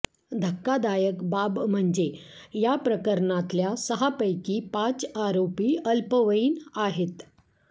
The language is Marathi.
धक्कादायक बाब म्हणजे याप्रकरणातल्या सहा पैकी पाच आरोपी अल्पवयीन आहेत